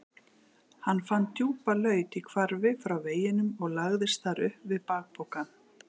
Hann fann djúpa laut í hvarfi frá veginum og lagðist þar upp við bakpokann.